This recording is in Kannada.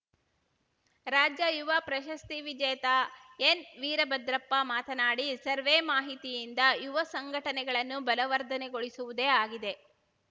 ರಾಜ್ಯ ಯುವ ಪ್ರಶಸ್ತಿ ವಿಜೇತ ಎನ್‌ ವೀರಭದ್ರಪ್ಪ ಮಾತನಾಡಿ ಸರ್ವೆ ಮಾಹಿತಿಯಿಂದ ಯುವ ಸಂಘಟನೆಗಳನ್ನು ಬಲವರ್ಧನೆಗೊಳಿಸುವುದೇ ಆಗಿದೆ